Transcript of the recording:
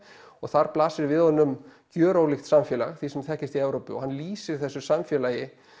og þar blasir við honum gjörólíkt samfélag því sem þekkist í Evrópu og hann lýsir þessu samfélagi